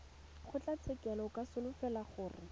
kgotlatshekelo o ka solofela gore